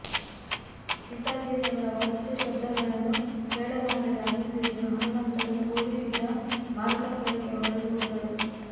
ಸೀತಾದೇವಿ ಅವರ ಅವಾಚ್ಯಶಬ್ದಗಳನ್ನು ಕೇಳಲಾರದೆ ಅಲ್ಲಿಂದೆದ್ದು ಹನುಮಂತನು ಕುಳಿತಿದ್ದ ಮರದ ಕೆಳಕ್ಕೆ ಹೊರಟುಹೋದಳು